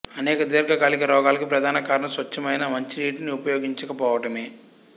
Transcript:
అనేక దీర్ఘకాలిక రోగాలకు ప్రధాన కారణం స్వచ్ఛమైన మంచినీటిని ఉపయోగించకపోవటమే